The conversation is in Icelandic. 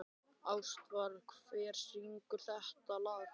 Ástvar, hver syngur þetta lag?